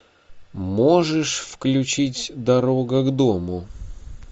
можешь включить дорога к дому